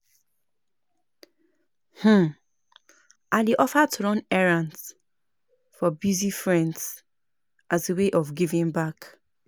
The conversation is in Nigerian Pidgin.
um I dey offer to run errands for busy friends as a way of giving back.